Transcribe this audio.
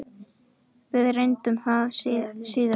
Við reyndum það síðara!